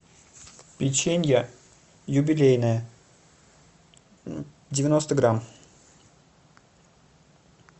печенье юбилейное девяносто грамм